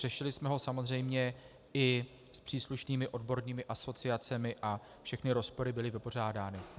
Řešili jsme ho samozřejmě i s příslušnými odbornými asociacemi a všechny rozpory byly vypořádány.